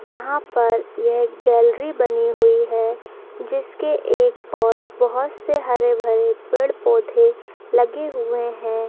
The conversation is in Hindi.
यहां पर यह गैलरी बनी हुई है जिसके एक ओर बहुत से हरे-भरे पेड़-पौधे लगे हुए हैं।